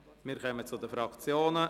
Wir kommen zu den Fraktionen.